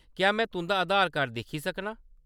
क्या में तुंʼदा आधार कार्ड दिक्खी सकनां ?